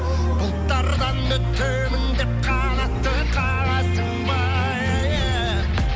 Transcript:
бұлттардан өтемін деп қанатты қағасың ба еее